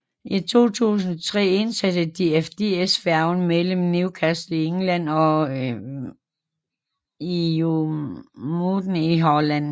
I 2003 indsatte DFDS færgen mellem Newcastle i England og IJmuiden i Holland